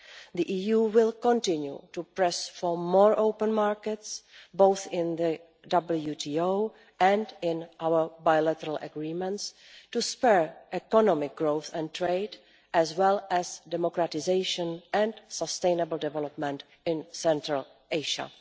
The EU will continue to press for more open markets, both in the WTO and in our bilateral agreements, to spur economic growth and trade, as well as democratisation and sustainable development in Central Asia.